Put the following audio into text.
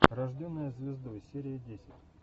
рожденная звездой серия десять